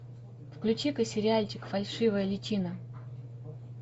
включи ка сериальчик фальшивая личина